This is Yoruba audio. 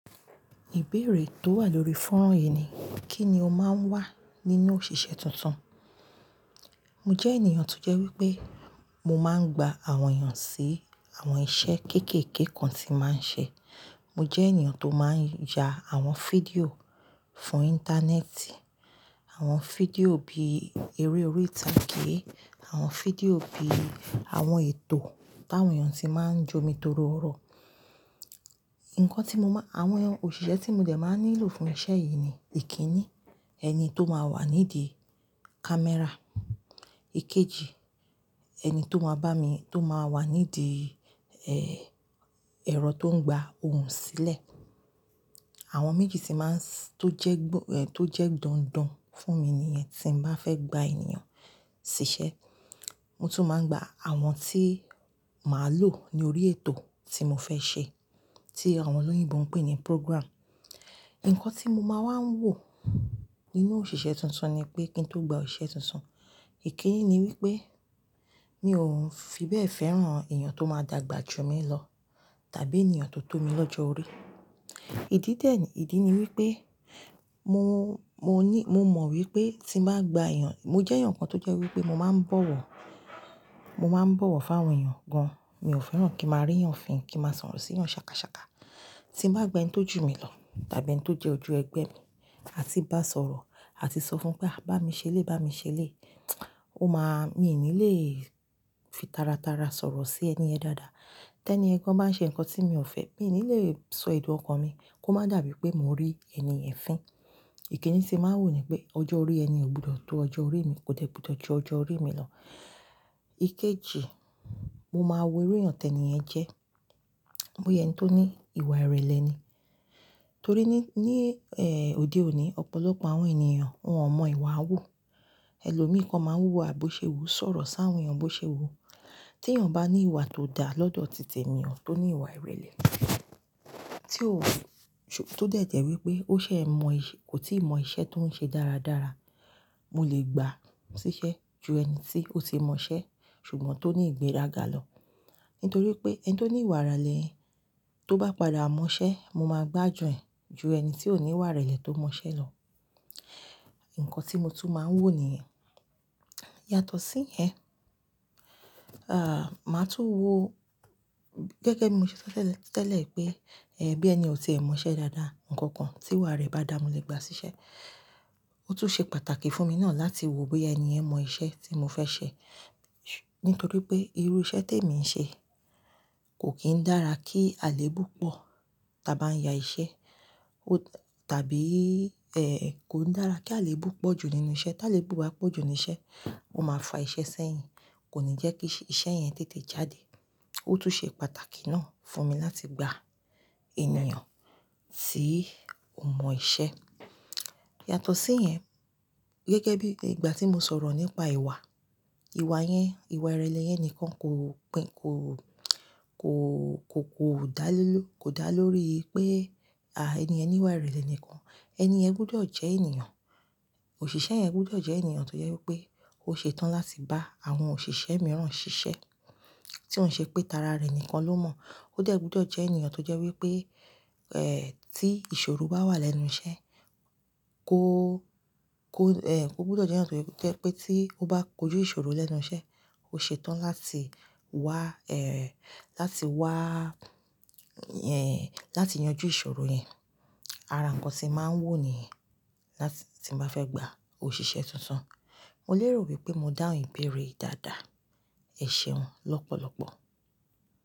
Ìbéèrè tó wà lórí fọ́nrán yìí ni, kí ni o máa ń wá nínú òṣìṣẹ́ tuntun? Mo jẹ́ ènìyàn tó jẹ́ wípé mo máa ń gba àwọn èèyàn sí àwọn iṣẹ́ kéékèèké kan tí máa ń ṣe. Mo jẹ́ ènìyàn tó máa ń ya àwọn fídíò fún Íńtánẹ́ẹ̀tì, àwọn fídíò bí eré orí ìtàgé, àwọn fídíò bí àwọn ètò táwọn èèyàn ti máa ń jómi torọ ọ̀rọ̀. Ǹkan tí mo máa, àwọn òṣìṣẹ́ tí mo dẹ̀ máa nílò fún iṣẹ́ yìí ni, ìkíni, ẹni tó máa wà nídìí kámẹ́rà. Ikeji, ẹni tó máa bá mi, tó máa wà nídìí, ẹ́ẹ́, ẹ̀rọ tó ń gba ohùn sílẹ̀. Àwọn méjì tí máa ń s-- tó jẹ́ gbọ-- ẹ́ ẹ, tó jẹ́ dandan fún mi níyẹn tí mo bá fẹ́ gba ènìyàn ṣiṣẹ́. Mo tún máa ń gba àwọn tí màá lò ní orí ètò tí mo fẹ́ ṣe, tí àwọn olóyìnbo ń pè ní "programme". Ǹkan tí mo máa wá ń wò nínú òṣìṣẹ́ tuntun ni pé kí n tó gba òṣìṣẹ́ tuntun, ìkíni ni wípé mi ò ń fibẹ́ fẹ́ràn èèyàn tó máa dàgbà jù mí lọ tàbí ènìyàn tó tó mi lọ́jọ́ orí. Ìdí dè-- ìdí ni wípé mo, mo ní, mo mọ̀ wípé tí mo bá gba èèyàn, mo jẹ́ èèyàn kan tó jẹ́ wípé mo máa ń bọ̀wọ̀, mo máa ń bọ̀wọ̀ fún àwọn èèyàn gan-an. Mi ò fẹ́ràn kí màá rí èèyàn fín, kí màá sọ̀rọ̀ sí èèyàn ṣàkàṣàkà. Tí mo bá gba ẹni tó jù mí lọ tàbí ẹni tó jẹ́ ojú ẹgbẹ́ mi, a ti bá sọ̀rọ̀, a ti sọ fún un pé "à, bá mi ṣe lé, bá mi ṣe lé", ó máa-- mi ò ní lè fi tara tara sọ̀rọ̀ sí ẹni yẹ̀n dáadáa. Tẹ́ni ẹ́ gan-an bá ń ṣe ǹkan tí mi ò fẹ́, mi ò ní lè sọ èdùn ọkàn mi kó má dàbí pé mò ń rí ẹni yẹ̀n fín. Ìkíni tí màá ń wò ní pé ọjọ́ orí ẹni ò gbọdọ̀ tó ọjọ́ orí mi, kò tẹ́ gbọdọ̀ ju ọjọ́ orí mi lọ. Ikeji, mo máa wo iru èèyàn tẹ̀ni ẹ jẹ́. Bo ya ẹni tó ní ìwà ìrẹ̀lẹ̀ ni. Torí ní, ní, ẹ́ ẹ, òde òní ọ̀pọ̀lọpọ̀ àwọn ènìyàn wọn ò mọ ìwà háwú. Ẹ̀lòmíìkan máa ń wúwa bò ṣe wu, sọ̀rọ̀ sáwọn èèyàn bó ṣe wu. Tí èèyàn bá ní ìwà tó dà lọ́dọ̀ tìte mi ò, tó ní ìwà ìrẹ̀lẹ̀, tí ò w-- t-tó dẹ̀ tẹ̀ wípé ó ṣẹ̀ mọ iṣẹ́, kò tí ì mọ iṣẹ́ tó ń ṣe dáradára, mo lè gbà síṣẹ́ ju ẹni tí ó ti mọ iṣẹ́ ṣùgbọ́n tó ní ìgbéraga lọ. Nítorí pé ẹni tó ní ìwà ìrẹ̀lẹ̀ tó bá padà mọ iṣẹ́, mo máa gbàjù ẹ̀ ju ẹni tí ò ní ìwà ìrẹ̀lẹ̀ tó mọ iṣẹ́ lọ. Ǹkan tí mo tún máa ń wò nìyẹn. Yàtọ̀ sí ìyẹn, ah, màá tún wò-- gẹ́gẹ́ bí mo ṣe sọ tẹ́lẹ̀, tẹ́lẹ̀ pé, ẹ́ ẹ, bí ẹni ò tí ì mọ iṣẹ́ dáadáa, ǹkan kan tí ìwà rẹ̀ bá dà, mo lè gbà síṣẹ́. Ó tún ṣe pàtàkì fún mi náà láti wo bóyá ẹni ẹ̀ mọ iṣẹ́ tí mo fẹ́ ṣẹ. Nítorí pé irú iṣẹ́ tí èmi ń ṣe kò kín dára kí àléébù pọ̀ tí a bá ń ya iṣẹ́, ó tàbí, ẹ́ ẹ, kò ń dára kí àléébù pọ̀ jù nínú iṣẹ́. Tí àléébù bá pọ̀ jù nínú iṣẹ́, o máa fa iṣẹ́ sẹ́yìn, kò ní jẹ́ kí iṣẹ́ yẹn tètè jáde. Ó tún ṣe pàtàkì náà fún mi láti gba ènìyàn tí ò mọ iṣẹ́. Yàtọ̀ sí ìyẹn, gẹ́gẹ́ bí ìgbà tí mo sọ̀rọ̀ nípa ìwà, ìwà yẹn, ìwà ìrẹ̀lẹ̀ yẹn ni kan kò pín, kò, kò, kò, kò dá lé ló, kò dá lórí pé, ah, ẹni ẹ̀ ní ìwà ìrẹ̀lẹ̀ nìkan. Ẹni ẹ̀ gbọdọ̀ jẹ́ ènìyàn. Òṣìṣẹ́ yẹn gbọdọ̀ jẹ́ ènìyàn tó jẹ́ wípé ó ṣe tán láti bá àwọn òṣìṣẹ́ mìíràn ṣiṣẹ́, tí ò ń ṣe pé tara rẹ̀ nìkan ló mọ̀. Ó dẹ̀ gbudọ̀ jẹ́ ènìyàn tó jẹ́ wípé, ẹ́ ẹ, tí ìṣòro bá wà lẹ́nu iṣẹ́ kó, kó, ẹ́ ẹ, kó gbọdọ̀ jẹ́ ẹ̀níyàn tó jẹ́ wípé tí ó bá kojú ìṣòro lẹ́nu iṣẹ́, ó ṣe tán láti wá, ẹ́ ẹ, láti wá, ẹ́ ẹ, láti yanjú ìṣòro yẹn. Ara ǹkan tí màá ń wò nìyẹn láti-- tí mo bá fẹ́ gba òṣìṣẹ́ tuntun. Mo lè rò wípé mo dáhùn ìbéèrè ìdádá, ẹ̀ṣe wọn lọ́pọ̀lọ́pọ̀.